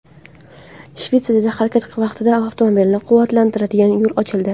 Shvetsiyada harakat vaqtida avtomobilni quvvatlantiradigan yo‘l ochildi .